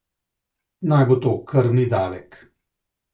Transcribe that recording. Naj bo to krvni davek.